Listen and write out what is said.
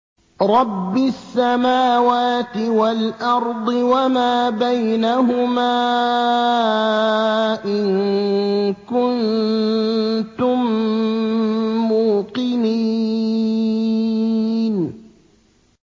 رَبِّ السَّمَاوَاتِ وَالْأَرْضِ وَمَا بَيْنَهُمَا ۖ إِن كُنتُم مُّوقِنِينَ